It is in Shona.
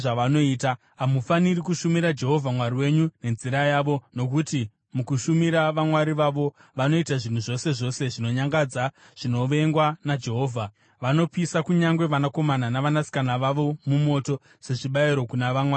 Hamufaniri kushumira Jehovha Mwari wenyu nenzira yavo, nokuti mukushumira vamwari vavo, vanoita zvinhu zvose zvose zvinonyangadza zvinovengwa naJehovha. Vanopisa kunyange vanakomana navanasikana vavo mumoto sezvibayiro kuna vamwari vavo.